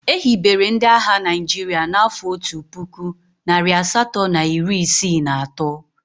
E hibere ndị agha Naịjirịa n'afọ otu puku, narị asatọ na iri isii na atọ.